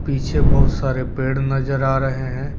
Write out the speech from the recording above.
पीछे बहुत सारे पेड़ नजर आ रहे हैं।